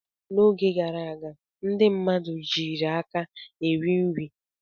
N'oge gara aga ndị mmadụ jiiri aka eri nri.